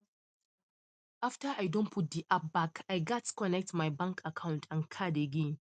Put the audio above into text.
after i don put de app back i gats connect my bank account and card again